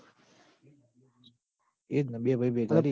એ જ ન બે ભઈ ભેગા રી